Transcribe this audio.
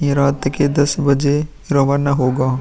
ये रात के दस बजे रवन्ना होगा।